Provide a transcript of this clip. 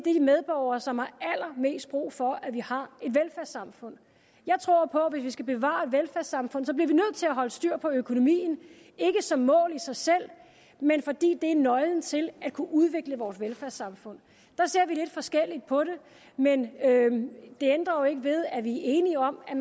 medborgere som har allermest brug for at vi har et velfærdssamfund jeg tror på at hvis vi skal bevare velfærdssamfundet at holde styr på økonomien ikke som mål i sig selv men fordi det er nøglen til at kunne udvikle vores velfærdssamfund der ser vi lidt forskelligt på det men det ændrer jo ikke ved at vi er enige om at